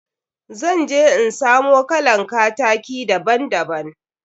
Zan je in samo kalan kataki daban daban.